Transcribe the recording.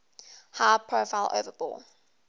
high profile overbore